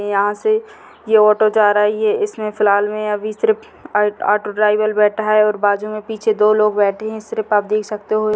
यहाँ से यह ऑटो जा रहा है इसमें फिलाल में अभी सिर्फ ऑटो ड्राइवर बैठा हैं बाजू में दो लोग बैठे सिर्फ आप देख सकते हो।